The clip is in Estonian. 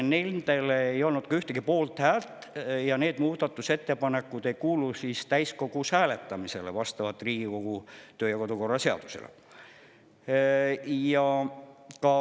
Need ei saanud ühtegi poolthäält ja need muudatusettepanekud ei kuulu ka täiskogus hääletamisele vastavalt Riigikogu kodu- ja töökorra seadusele.